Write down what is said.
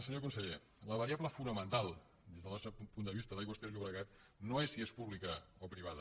senyor conseller la variable fonamental des del nostre punt de vista d’aigües ter llobregat no és si és pública o privada